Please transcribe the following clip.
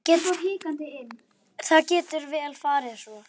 Það getur vel farið svo.